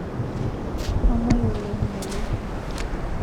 kamwei oleng ngole